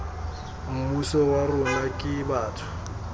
mmuso wa rona ke batho